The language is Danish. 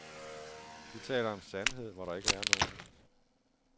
De taler om sandhed, hvor der ikke er nogen.